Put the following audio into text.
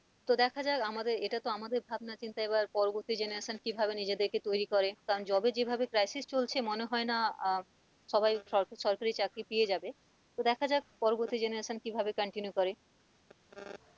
তো দেখা যাক আমাদের এটা তো আমাদের ভাবনা চিন্তা এবার পরবর্তী generation কি ভাবে নিজেদেরকে তৈরি করে কারণ job এর যেভাবে crisis চলছে মনে হয় না আহ সবাই স সরকারি চাকরি পেয়েযাবে তো দেখা যাক পরবর্তী generation কিভাবে continue করে,